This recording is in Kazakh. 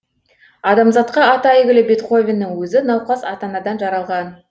адамзатқа аты әйгілі бетховеннің өзі науқас ата анадан жаралған